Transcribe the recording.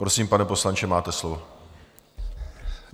Prosím, pane poslanče, máte slovo.